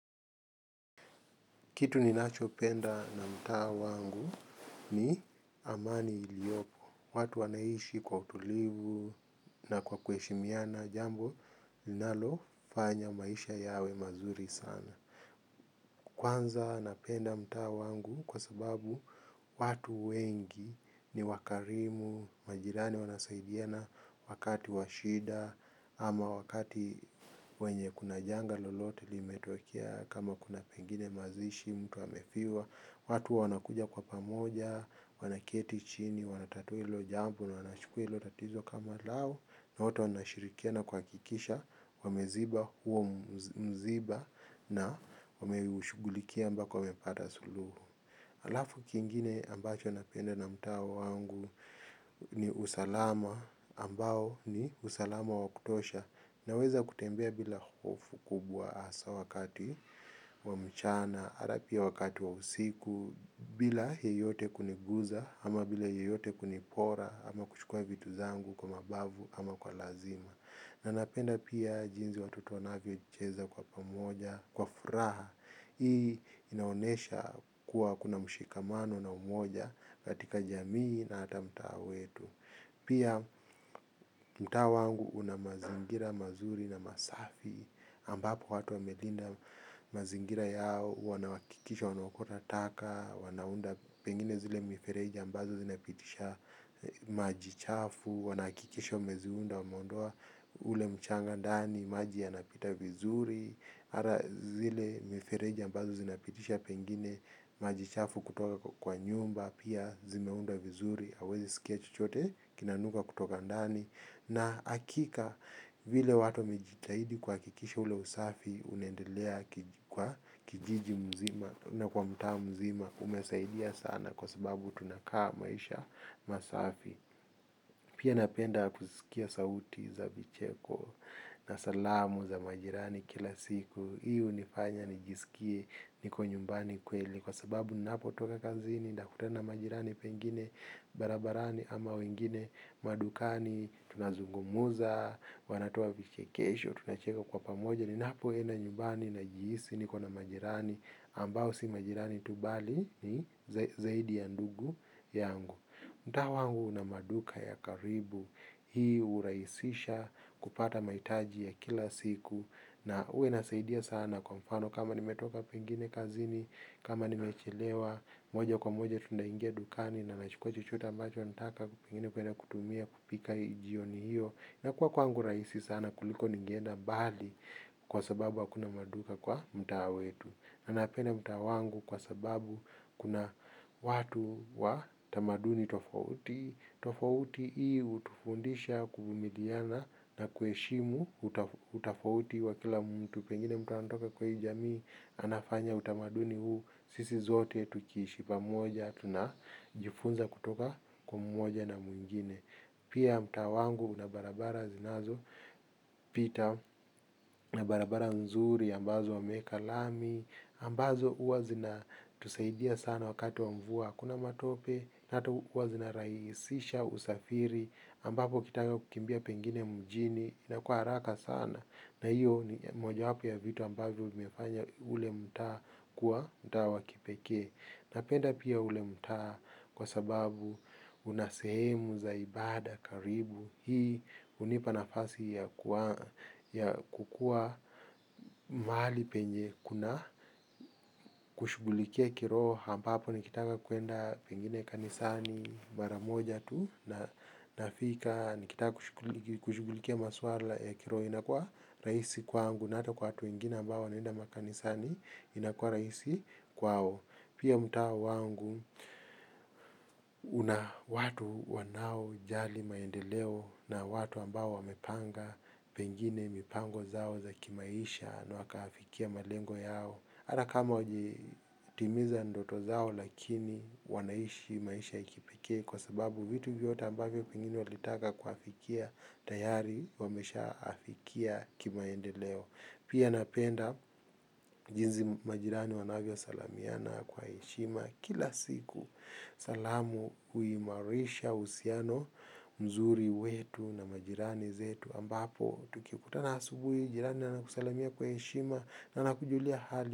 Kitu ninacho penda na mtaa wangu ni amani iliopo. Watu wanaishi kwa utulivu na kwa kuheshimiana jambo linalo fanya maisha yawe mazuri sana. Kwanza napenda mtaa wangu kwa sababu watu wengi ni wakarimu, majirani wanasaidiana wakati wa shida ama wakati wenye kuna janga lolote limetokea kama kuna pengine mazishi mtu amefiwa watu wanakuja kwa pamoja, wanaketi chini, wanatatua hilo jambo na wanachukua hilo tatizo kama lao na wote wanashirikiana kuhakikisha, wameziba huo mziba na wameushughulikia mpaka wamepata suluhu alafu kingine ambacho napenda na mtaa wangu ni usalama ambao ni usalama wa kutosha naweza kutembea bila hofu kubwa hasa wakati wa mchana, ata pia wakati wa usiku bila yeyote kunigusa ama bila yeyote kunipora ama kuchukua vitu vyangu kwa mabavu ama kwa lazima. Na napenda pia jinsi watoto wanavyo cheza kwa pamoja, kwa furaha. Hii inaonyesha kuwa kuna mshikamano na umoja, katika jamii na hata mtaa wetu. Pia mtaa wangu unamazingira mazuri na masafi. Ambapo watu wamelinda mazingira yao, wanahakikisha wanaokota taka, wanaunda pengine zile mifereji ambazo zinapitisha maji chafu, wanahakikisha mmeziunda wameondoa ule mchanga ndani, maji yanapita vizuri, ata zile mifereji ambazo zinapitisha pengine, maji chafu kutoka kwa nyumba, pia zimeundwa vizuri, huwezi sikia chochote, kinanuka kutoka ndani, na hakika vile watu wamejitahidi kuhakikisha ule usafi, unaendelea kwa kijiji mzima, tena kwa mtaa mzima, umesaidia sana kwa sababu tunakaa maisha masafi. Pia napenda kusikia sauti za vicheko na salamu za majirani kila siku hii hunifanya nijisikie niko nyumbani kweli kwa sababu ninapotoka kazini nakutana na majirani pengine barabarani ama wengine madukani tunazungumza, wanatoa vichekesho, tunacheka kwa pamoja ninapo enda nyumbani na jihisi niko na majirani ambao si majirani tu bali ni zaidi ya ndugu yangu mtaa huu una maduka ya karibu hii hurahisisha kupata mahitaji ya kila siku na huwa inasaidia sana kwa mfano kama nimetoka pengine kazini, kama nimechelewa, moja kwa moja tunaingia dukani na nachukua chochote ambacho nataka pengine kwenda kutumia kupika hii jioni hiyo. Na kuwa kwangu rahisi sana kuliko ningeenda mbali kwa sababu hakuna maduka kwa mtaa wetu. Napenda mtaa wangu kwa sababu kuna watu wa tamaduni tofauti. Tofauti hii hutufundisha kuvumiliana na kuheshimu utofauti wa kila mtu. Pengine mtaa natoka kwa hii jamii anafanya utamaduni huu. Sisi zote tukiishi pamoja tuna jifunza kutoka kwa mmoja na mwingine. Pia mtaa wangu unabarabara zinazo pita na barabara nzuri ambazo wamweka lami ambazo huwa zina tusaidia sana wakati wa mvua kuna matope, hata huwa zina rahisisha, usafiri ambapo ukitaka kukimbia pengine mjini na kwa haraka sana na hiyo ni moja wapo ya vitu ambavyo ume fanya ule mtaa kuwa mtaa wa kipekee napenda pia ule mtaa kwa sababu unasehemu za ibada karibu hii unipa nafasi ya kukuwa mahali penye kuna kushughulikia kiroho ampapo nikitaka kwenda pengine kanisani maramoja tu na nafika nikitaka kushughulikia maswala ya kiroho inakuwa rahisi kwangu na hata kwa watu wengine ambao wanaenda makanisani inakuwa rahisi kwao. Pia mtaa wangu, una watu wanao jali maendeleo na watu ambao wamepanga, pengine mipango zao za kimaisha na wakafikia malengo yao. Hata kama wajitimiza ndoto zao lakini wanaishi maisha ya kipekee kwa sababu vitu vyote ambavyo pengine walitaka kuwafikia tayari wamesha afikia kimaendeleo. Pia napenda jinsi majirani wanavyo salimiana kwa heshima kila siku salamu huimarisha husiano mzuri wetu na majirani zetu ambapo tukikutana asubuhi, jirani anakusalimia kwa heshima na anakujulia hali.